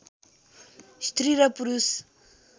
स्त्री र पुरुष